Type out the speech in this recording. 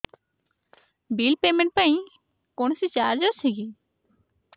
bill payment ପାଇଁ କୌଣସି charge ଅଛି କି